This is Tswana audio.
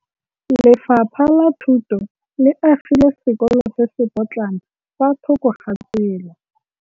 Lefapha la Thuto le agile sekôlô se se pôtlana fa thoko ga tsela.